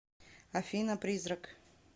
афина призрак